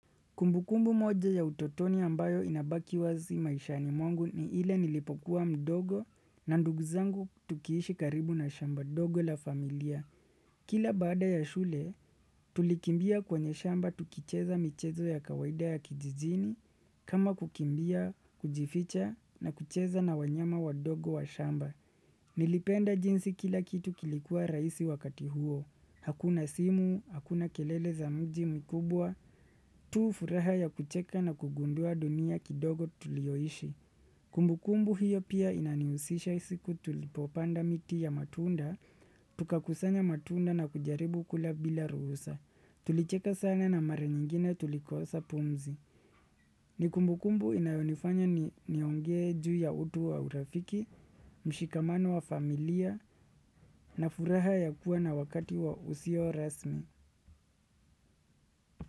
Kumbukumbu moja ya utotoni ambayo inabaki wazi maishani mwangu ni ile nilipokuwa mdogo na ndugu zangu tukiishi karibu na shamba ndogo la familia. Kila baada ya shule, tulikimbia kwenye shamba tukicheza michezo ya kawaida ya kijijini kama kukimbia, kujificha na kucheza na wanyama wadogo wa shamba. Nilipenda jinsi kila kitu kilikuwa rahisi wakati huo. Hakuna simu, hakuna kelele za mji mkubwa, tu furaha ya kucheka na kugundua dunia kidogo tuliyoishi. Kumbukumbu hiyo pia inanihusisha siku tulipopanda miti ya matunda, tukakusanya matunda na kujaribu kula bila ruhusa. Tulicheka sana na mara nyingine tulikosa pumzi. Ni kumbukumbu inayonifanya niongee juu ya utu wa urafiki, mshikamano wa familia, na furaha ya kuwa na wakati wa usio rasmi.